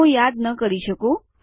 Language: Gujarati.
હું યાદ ન કરી શકું